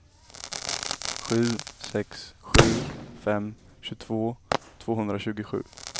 sju sex sju fem tjugotvå tvåhundratjugosju